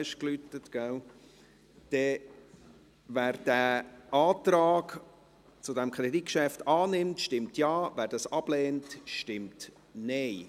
Wer den Antrag zu diesem Kreditgeschäft annimmt, stimmt Ja, wer dies ablehnt, stimmt Nein.